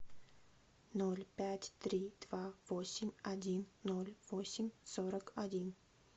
ноль пять три два восемь один ноль восемь сорок один